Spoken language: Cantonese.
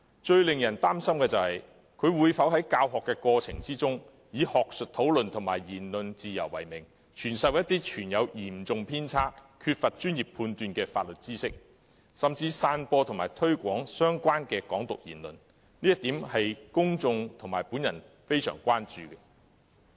最令人擔心的是，他會否在教學過程中以學術討論及言論自由為名，傳授嚴重偏差、缺乏專業判斷的法律知識，甚至散播及推廣與"港獨"有關的言論，這是公眾和我相當關注的一點。